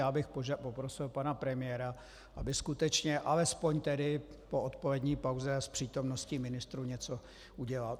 Já bych poprosil pana premiéra, aby skutečně alespoň tedy po odpolední pauze s přítomnosti ministrů něco udělal.